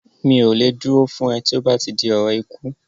Mi ò lè dúró fún ẹ tí ó bá ti di ọ̀rọ̀ ikú